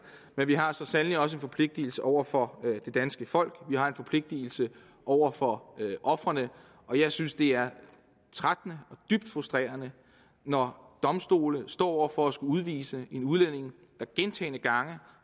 men vi har så sandelig også en forpligtelse over for det danske folk vi har en forpligtelse over for ofrene og jeg synes det er trættende og dybt frustrerende når domstole står over for at skulle udvise en udlænding der gentagne gange